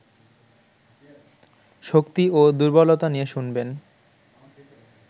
শক্তি ও দুর্বলতা নিয়ে শুনবেন